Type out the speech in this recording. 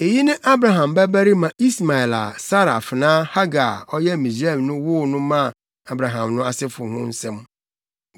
Eyi ne Abraham babarima Ismael a Sara afenaa Hagar a ɔyɛ Misraimni no woo no maa Abraham no asefo ho asɛm.